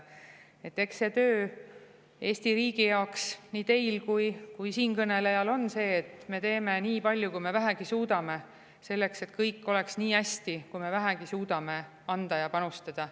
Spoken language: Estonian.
Eks töö Eesti riigi nimel on nii teil kui mul selline, et me teeme nii palju, kui me vähegi suudame, selleks et kõik oleks nii hästi, kui me vähegi suudame anda ja panustada.